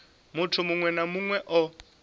muthu muṅwe na muṅwe o